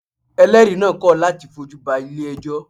Eléèri naa kọ̀ láti fojú ba Ilé ẹjọ́